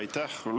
Aitäh!